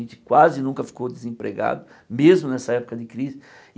A gente quase nunca ficou desempregado, mesmo nessa época de crise.